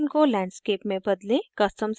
* orientation को landscape में बदलें